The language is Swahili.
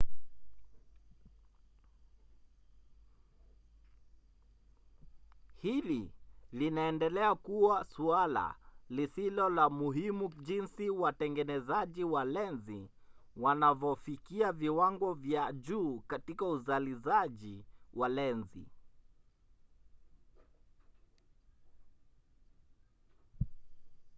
hili linaendelea kuwa suala lisilo la muhimu jinsi watengenezaji wa lenzi wanavyofikia viwango vya juu katika uzalizaji wa lenzi